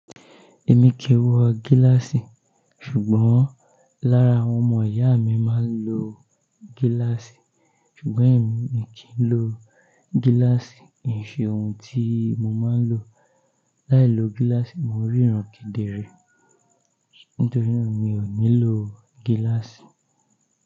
Èmi kìí wọ gíláàsì, ṣùgbọ́n lára àwọn ọmọ ìyá mi máa ń lo gíláàsì, ṣùgbọ́n èmi mi kì í lo gíláàsì. Kì ṣe ohun tí mo máa ń lo. Láì lo gíláàsì mo rí ìránkèdè rẹ̀. Nítorí náà mi ò ní lo gíláàsì.